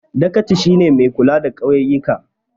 Dagaci shi ne mai kula da ƙauyika